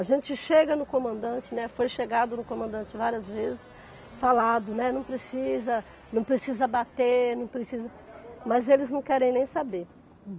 A gente chega no comandante, né, foi chegado no comandante várias vezes, falado, né, não precisa, não precisa bater, não precisa, mas eles não querem nem saber.